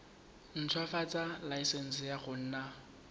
ntshwafatsa laesense ya go nna